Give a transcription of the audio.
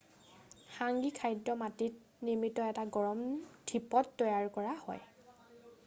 হাংগী খাদ্য মাটিত নিৰ্মিত এটা গৰম ধিপত তৈয়াৰ কৰা হয়